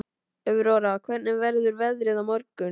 Aurora, hvernig verður veðrið á morgun?